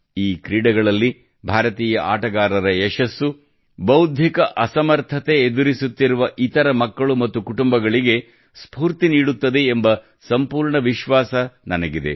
ಈ ಕ್ರೀಡೆಗಳಲ್ಲಿ ಭಾರತೀಯ ಆಟಗಾರರ ಯಶಸ್ಸು ಬೌದ್ಧಿಕ ಅಸಮರ್ಥತೆ ಎದುರಿಸುತ್ತಿರುವ ಇತರ ಮಕ್ಕಳು ಮತ್ತು ಕುಟುಂಬಗಳಿಗೆ ಸ್ಫೂರ್ತಿ ನೀಡುತ್ತದೆ ಎಂಬ ಸಂಪೂರ್ಣ ವಿಶ್ವಾಸ ನನಗಿದೆ